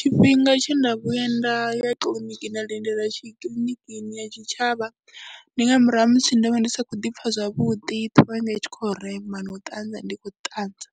Tshifhinga tshe nda vhuya nda ya kiḽiniki nda lindela kiḽiniki ya tshitshavha ndi nga murahu ha musi ndo vha ndi sa khou ḓi pfha zwavhuḓi, ṱhoho yanga i tshi khou rema na u ṱanza ndi khou ṱanza.